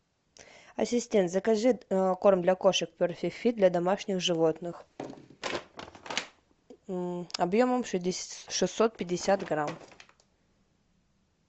ассистент закажи корм для кошек перфект фит для домашних животных объемом шестьсот пятьдесят грамм